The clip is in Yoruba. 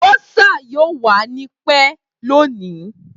Bursar yoo wa ni pẹ loni.